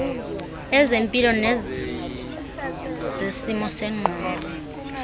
ezempilo nezesimo sengqondo